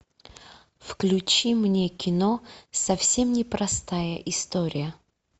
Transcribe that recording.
включи мне кино совсем непростая история